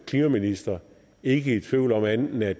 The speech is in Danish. klimaminister ikke i tvivl om andet end at